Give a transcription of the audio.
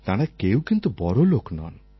তাঁরা কেউই কিন্তু বড়লোক নন